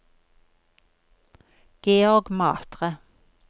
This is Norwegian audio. Georg Matre